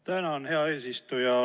Tänan, hea eesistuja!